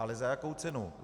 Ale za jakou cenu?